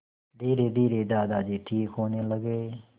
धीरेधीरे दादाजी ठीक होने लगे